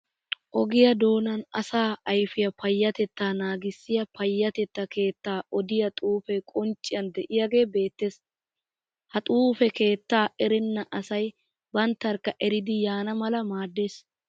Ogiya doonan asaa ayifiya payyatettaa naagissiya payyatettaa keettaa odiya xuufe qoncciyan de'iyagee beettes. Ha xuufe keettaa erenna asayi banttarikka eridi yaana mala maaddees.